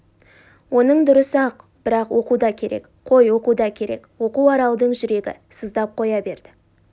оның дұрыс-ақ бірақ оқу да керек қой оқу да керек оқу аралдың жүрегі сыздап қоя берді